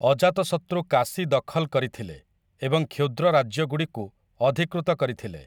ଅଜାତଶତୃ କାଶୀ ଦଖଲ୍ କରିଥିଲେ ଏବଂ କ୍ଷୁଦ୍ର ରାଜ୍ୟଗୁଡ଼ିକୁ ଅଧିକୃତ କରିଥିଲେ ।